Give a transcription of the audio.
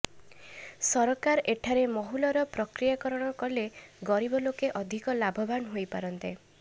ସରକାର ଏଠାରେ ମହୁଲର ପ୍ରକ୍ରିୟାକରଣ କଲେ ଗରିବ ଲୋକେ ଅଧିକ ଲାଭବାନ ହୋଇପାରନ୍ତେ